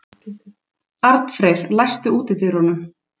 Arnfreyr, læstu útidyrunum.